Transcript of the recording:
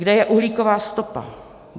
Kde je uhlíková stopa?